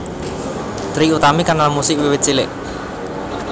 Trie Utami kenal musik wiwit cilik